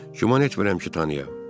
Güman etmirəm ki, tanıyım.